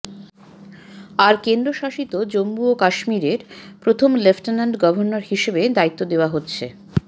আর কেন্দ্রশাসিত জম্মু ও কাশ্মীরের প্রথম লেফটেন্যান্ট গভর্নর হিসেবে দায়িত্ব দেওয়া হচ্ছ